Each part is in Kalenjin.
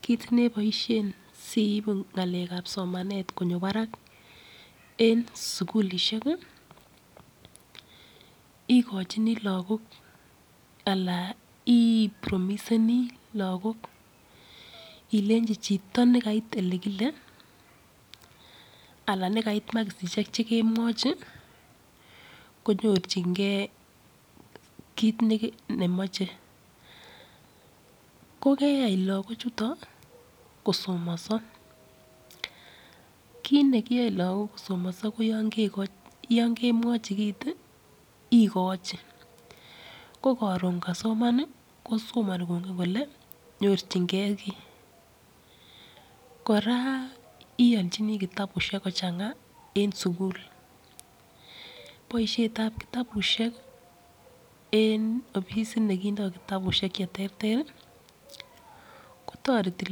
Kit neboishe siibu ngalek ab somanet konyo barak, en sukulishek, ikochini lagok anan i promiseni lagok ilenji chito nekait ole kile anan ne kait makisisiek. che kemwachi, konyorchingei kit nemachei. Ko keyai lagichutok kosomanso. Kit ne kiyae lagochutok kosomanso ko yo kemwachi kit, ikochi. Ko karon kasoman, kosomani kongen kole nyorchingei kiy. Kora ialchini kitabushek kochangaa eng sukul. Boishetab kitabushek, en ofisit nekindoi kitabushek che terter, ko toreti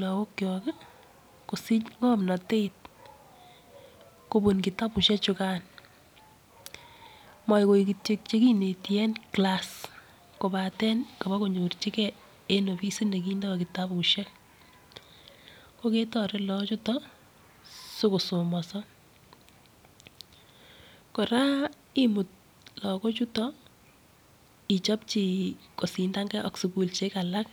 lagokchok kosich ng'omnatet kobun kitabushechukan. Moagoik kityo chekineti en kilas kobaten kobakonyirchikei en ofisit nekindoi kitabushek.ko ketoret kagok chutok si kosomanso. kora imut lagochutok ichopchi kosindangei ak sukulishek alak.